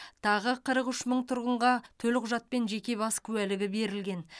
тағы қырық үш мың тұрғынға төлқұжат пен жеке бас куәлігі берілген